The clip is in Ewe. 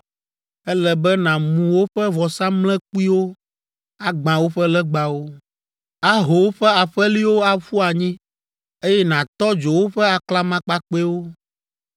Ele be nàmu woƒe vɔsamlekpuiwo, agbã woƒe legbawo, aho woƒe aƒeliwo aƒu anyi, eye nàtɔ dzo woƒe aklamakpakpɛwo,